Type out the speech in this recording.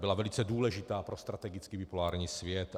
Byla velice důležitá pro strategický bipolární svět.